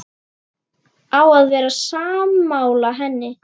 Á að vera sammála henni.